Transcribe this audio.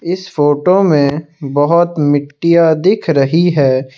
इस फोटो में बहुत मिट्टियां दिख रही है।